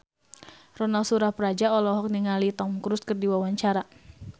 Ronal Surapradja olohok ningali Tom Cruise keur diwawancara